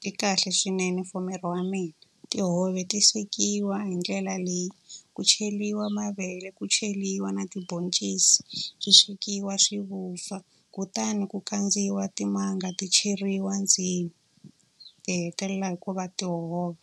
ti kahle swinene for miri wa mina. Tihove ti swekiwa hi ndlela leyi, ku cheriwa mavele ku cheriwa na tibhoncisi, swi swekiwa swi vupfa. Kutani ku kandziwa timanga ti cheriwa ndzeni. Ti hetelela hi ku va tihove.